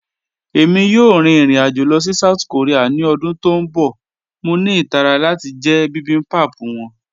Ẹ̀mi yòò rín irin-ajo lọ sí South Korea ni ọdún tó n bọ̀, mọ̀ ní itàrà láti jẹ̀ bibimbap wọn.